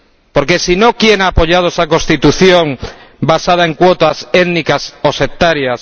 Porque, si no, ¿quién ha apoyado esa Constitución basada en cuotas étnicas o sectarias?